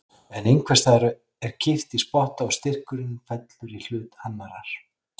En einhvers staðar er kippt í spotta og styrkurinn fellur í hlut annarrar.